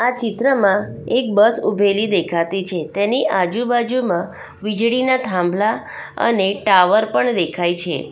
ચિત્રમાં એક બસ ઊભેલી દેખાતી છે તેની આજુબાજુમાં વીજળીના થાંભલા અને ટાવર પણ દેખાય છે.